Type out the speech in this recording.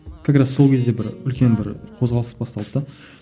как раз сол кезде бір үлкен бір қозғалыс басталды да